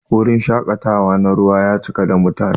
Wurin shakatawa na ruwa ya cika da mutane.